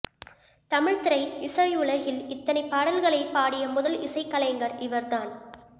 தமிழ் திரை இசை உலகில் இத்தனை பாடல்களைப் பாடிய முதல் இசைக்கலைஞர் இவர் தான்